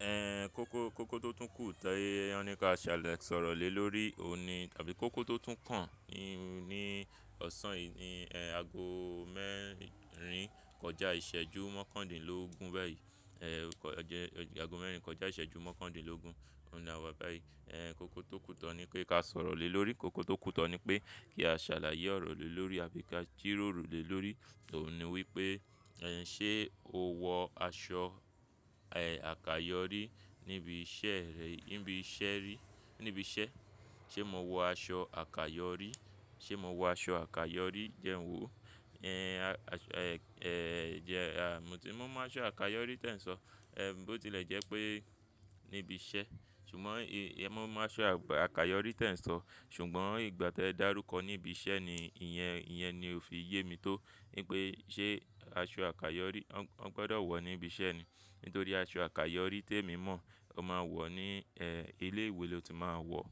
Ẹ̀ kókó, kókó tún kù tán ní, ká ṣàlẹ̀ sọ̀rọ̀ lè lórí òní tàbí kókó tó tún kàn ní, ní ọ̀sán yìí ni ẹ̀ ago mẹ́rin kọjá ìṣẹ́jú mọ́kàndínlógún bayí. Ẹ̀ ọjẹ́, ago mẹ́rin kọjá ìṣẹ́jú mọ́kàndínlógún, òun ni àwa báyìí. Ẹ̀ kókó tó kùtọ́ ní pé ká sọ̀rọ̀ lè lórí, kókó tó kùtọ́ ní pé kí a ṣàlàyé ọ̀rọ̀ lè lórí àbí ká jíròrò lè lórí. Òun ni wípé ẹ̀ ṣé o wọ aṣọ ẹ̀ àkayòrí níbi iṣẹ́ rẹ, níbi iṣẹ́ rí, níbi iṣẹ́. Ṣé mo wọ aṣọ àkayòrí? Ṣé mo wọ aṣọ àkayòrí jẹ́ ǹ wo? Ẹ̀ aṣọ, ẹ̀ jẹ́, à mo ti, mo mọ aṣọ àkayòrí tẹ́ ǹ sọ. Ẹ̀ bó tí lè jẹ́ pé níbi iṣẹ́, ṣùgbọ́n ì, è mo mọ aṣọ àkayòrí tẹ́ ǹ sọ. Ṣùgbọ́n ìgbà tí ẹ dàrúkọ níbi iṣẹ́ ni ìyẹn, ìyẹn ni o fi yé mi tó wípé ṣé aṣọ àkayòrí, wọ́n gbọdọ̀ wọ̀ níbi iṣẹ́ ni. Nítorí aṣọ àkayòrí te mi mọ̀, o máa wọ̀ ní ẹ̀ ilé ìwé lò tí máa wọ̀.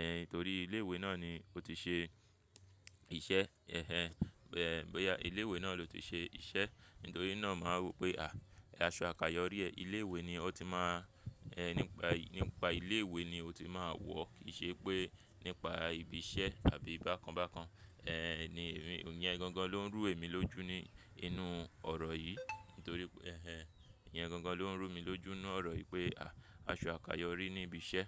Ẹ̀ nítorí ilé ìwé náà ni ó ti ṣe iṣẹ́. Ẹnẹn bọ́yá ilé ìwé naa lóti ṣe iṣẹ́. Nítorí náà màá rò pé à aṣọ àkayòrí ẹ́, ilé ìwé ni ó ti máa ẹ̀ nípa yìí, nípa ilé ìwé ni ó ti máa wọ̀. Kì í ṣe pé nípa ibi iṣẹ́ àbí bákan bákan. Ẹ̀ ní ìrín, ìyẹn gangan ló ń rú èmi lójú ní inú ọ̀rọ̀ yìí. Torí pé ẹnẹn ìyẹn gangan lón rú mi lójú nínú ọ̀rọ̀ yìí pé aṣọ àkàyọrí níbi iṣẹ.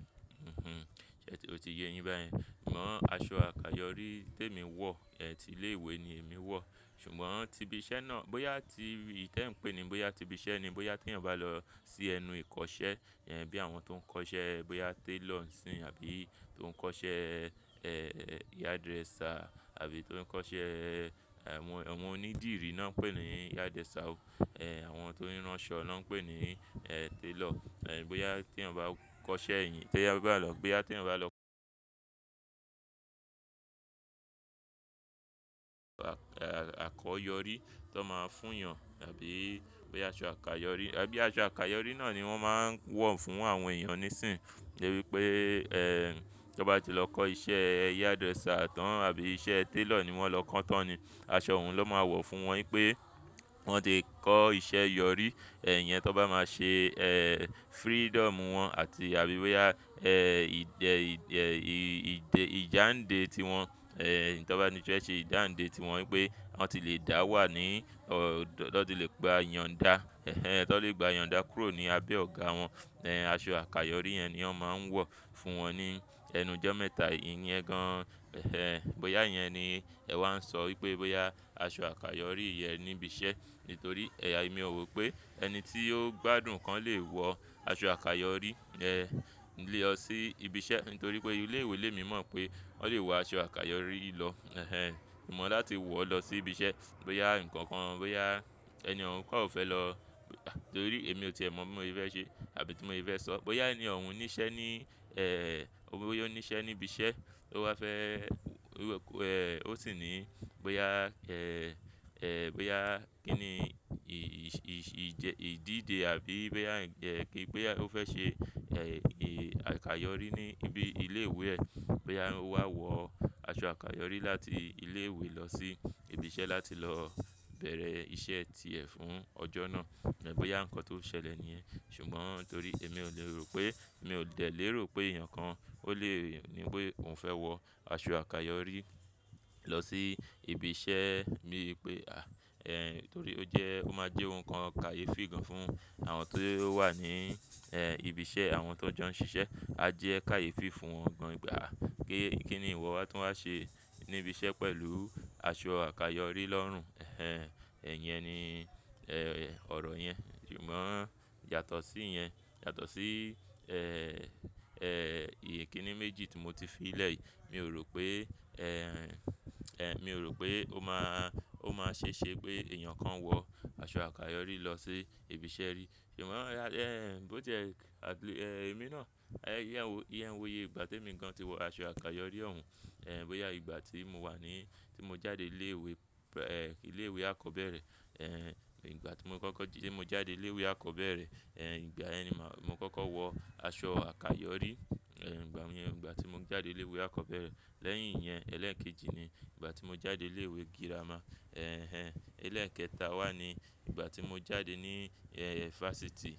O ti yé yin bayẹn. Ṣùgbọ́n aṣọ àkayòrí temi wọ̀, ẹ̀ ti ilé ìwé ni èmi wọ̀. Ṣùgbọ́n ti ibi iṣẹ́ náà, bóyá ti tẹ́ ǹ pé ni, bóyá ti ibi iṣẹ́ ni, bóyá tí ǹ bá lọ sí ẹnu ìkọ́ṣẹ́, yẹn bí àwọn tó ń kọ́ṣẹ́, bóyá tailor nísìnyìí àbí tó ń kọ́ṣẹ́ ẹ̀ hairdresser àbí tó ń kọ́ṣẹ́, àwọn onídìrí náà ń pè ni hairdresser. Ẹ̀. Àwọn tó ń rán aṣọ náà ń pè ní ẹ̀ tailor. Ẹ̀. Bóyá tí èyàn bá kọ́ṣẹ́ yìí, bóyá tí ǹ bá lọ, bóyá tí ǹ bá lọ àkọ̀yọrí tó máa ń fún yàn àbí bóyá aṣọ àkayòrí, àbí aṣọ àkayòrí náà ni wọ́n máa ń wọ̀ fún àwọn èèyàn nísìnyí. Ìwí pé ẹ̀ tó bá ti lọ kọ́ iṣẹ́ hairdresser tán àbí iṣẹ́ tailor ni wọ́n lọ kán tán ni, aṣọ òun ló máa wọ̀ fún wọn wípé wọ́n ti kọ́ iṣẹ́ yọ̀rí. Ẹ̀. Yẹn tó bá máa ṣe ẹ̀ freedom wọn àti àbí bóyá ẹ̀ ìdè, ìdè ìjàǹde tí wọn. Ẹ̀ ẹ̀ tó bá ti fẹ́ ṣe ìjàǹde tí wọn wípé wọ́n ti le dà wà ní, o lọ́ ti le gba iyọnddà. Ẹ̀ ẹ́n tọn lè gba iyọndà kúrò ní abẹ́ ọ̀gá wọn. Ẹ̀. Aṣọ àkayòrí yẹn ni wọ́n máa ń wọ̀ fún wọn ní ẹnu ọjọ́ mẹ́ta yìí iyẹn gan. Bọ́yá ìyẹn ni ẹ wan sọ wípé bọ́yà aṣọ àkayọ́rí nibi iṣẹ́. Nítorí ẹ́ya èmi ò rò pé ẹni tí ó gbádùn kan lè wọ aṣọ àkayòrí ẹ̀ lọ sí ibi iṣẹ́. Nítorí pé ilé ìwé lè mi mọ̀ pé wọ́n lè wọ aṣọ àkayòrí lọ. Ẹ̀ ẹ́n. Ṣùgbọ́n láti wọ̀ lọ sí ibi iṣẹ́, bóyá ǹkan kan, bóyá ẹni ohùn kan ò fẹ́ lọ, nítorí èmi ò ti è mọ̀ bí mo fi fẹ́ ṣe àbí tí mo fi fẹ́ sọ. Bóyá ẹní òun níṣẹ́ ní ẹ̀ ó bóyá ó níṣẹ́ ní ibi iṣẹ́, ó wá fẹ́, ó sì ní bóyá ẹ̀, ẹ̀ bóyá kí ni ì ìjẹ, ìdíje àbí bóyá ẹ̀ kí, bóyá ó fẹ́ ṣe ẹ̀ ì àkayòrí ní ibi ilé ìwé ẹ. Bóyá ó wá wọ aṣọ àkayòrí láti ilé ìwé lọ sí ibi iṣẹ́ láti lọ bẹ̀rẹ̀ iṣẹ́ ti ẹ fún ọjọ́ náà. Ẹ́ bóyá ǹkan tó ṣẹlẹ̀ nìyẹn. Ṣùgbọ́n torí èmi ò le rò pé, mi ò lè lérò pé èèyàn kan ó lè ní bóyá òun fẹ́ wọ aṣọ àkayòrí lọ sí ibi iṣẹ́. Níbi pé à ẹ̀ nítorí ó jẹ́, ó máa jẹ́ ohun kan kàyéfì gan fún àwọn tó wà ní ẹ̀ ibi iṣẹ́, àwọn tó jọ ń ṣiṣẹ́. A jẹ́ kàyéfì fún wọn gan pé aa kí, kí ni ìwọ tó máa ṣe níbi iṣẹ́ pẹ̀lú aṣọ àkayòrí lọ́rùn. Ẹ̀ ẹ́n ẹ̀ ìyẹn ni ẹ̀ ọ̀rọ̀ yẹn. Ṣùgbọ́n yàtọ̀ sí ìyẹn, yàtọ̀ sí ẹ̀, ẹ̀ ìyè kí ni méjì tí mo ti fi lẹ̀ yìí. Mi ò rò pé ẹ̀, ẹ̀ mi ò rò pé ó máa, ó máa ṣe ṣe pé èèyàn kan wọ aṣọ àkayòrí lọ sí ibi iṣẹ́ rí. Ṣùgbọ́n ẹ̀ bó tí ẹ̀, à bí, ẹ̀ èmi náà, ẹ̀ ìyẹn wò, ìyẹn wòye ìgbà tí èmi gan ti wọ aṣọ àkayòrí òun. Ẹ̀. Bóyá ìgbà tí mo wà ní, tí mo jáde ilé ìwé, ẹ̀ ilé ìwé akọ́bẹ́rẹ́. Ẹ̀. Ìgbà tí mo kọ́kọ́, tí mo jáde ilé ìwé akọ́bẹ́rẹ́, ẹ̀ ìgbà ẹni màá, mo kọ́kọ́ wọ aṣọ àkayòrí. Ẹ̀. Ìgbà wọ̀nyẹn, ìgbà tí mo jáde ilé ìwé akọ́bẹ́rẹ́. Lẹ́yìn ìyẹn, ẹlẹ́ẹ̀kejì ni ìgbà tí mo jáde ilé ìwé girama. Ẹ̀ ẹ́n. Ẹlẹ́ẹ̀kẹta wà ní ìgbà tí mo jáde ní ẹ̀ fásitì.